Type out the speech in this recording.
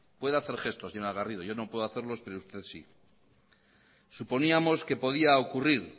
puede hacer gestos señora garrido yo no puedo hacerlos pero usted sí suponíamos que podía ocurrir